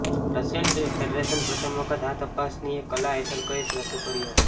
Russian ફેડરેશનમાં પ્રથમ વખત આ તપાસનીસએ કલા હેઠળ કેસ શરૂ કર્યો